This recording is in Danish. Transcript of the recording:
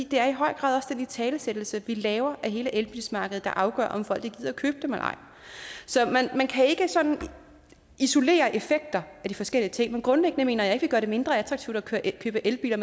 det er i høj grad også den italesættelse vi laver af hele elbilsmarkedet der afgør om folk gider købe dem eller ej så man kan ikke sådan isolere effekter af de forskellige ting men grundlæggende mener jeg ikke vi gør det mindre attraktivt at købe elbiler